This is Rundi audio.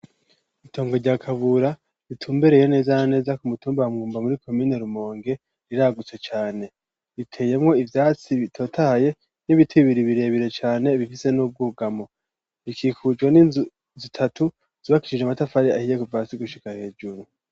Intongo rya kabura ritumbereye neza na neza ku mutumba wa mwumba muri komine rumonge riragutse cane ,riteyemwo ivyatsi bitotahaye n’ibiti bibiri birebire cane bifise n’ubwugamo bikikujwe n'inzu zitatu zubakicije amatafari ahiye kuva hasi gushika hejuru.